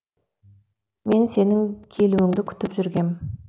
мен сенің келуіңді күтіп жүргем